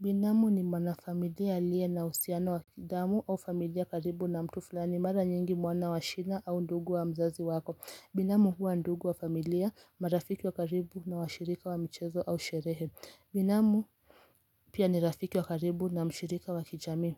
Binamu ni mwanafamilia aliye na uhusiano wa kidamu au familia karibu na mtu fulani mara nyingi mwana wa shina au ndugu wa mzazi wako. Binamu huwa ndugu wa familia, marafiki wa karibu na washirika wa michezo au sherehe. Binamu Pia ni rafiki wa karibu na mshirika wa kijamii